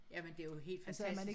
Jamen det jo helt fantastisk